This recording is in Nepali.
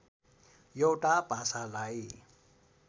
एउटा भाषालाई